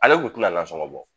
Ale kun tina nasɔgɔn bɔ